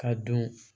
Ka don